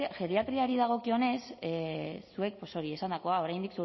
geriatriari dagokionez zuek pues hori esandakoa oraindik